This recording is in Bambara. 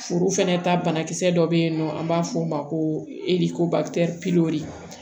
Furu fɛnɛ ta banakisɛ dɔ be yen nɔ an b'a f'o ma ko edi ko